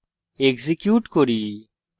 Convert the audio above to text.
execute করি এবং দেখি